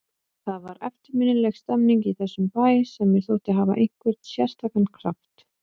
Það var eftirminnileg stemmning í þessum bæ sem mér þótti hafa einhvern sérstakan kraft.